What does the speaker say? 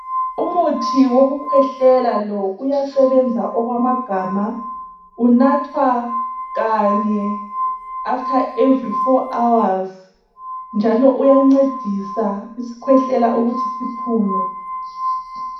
Umuthi wokukhwehlela lowo uyasebenza okwamagama unathwa kanye after every 4hours njalo uyancedisa isikhwehlela ukuthi siphume.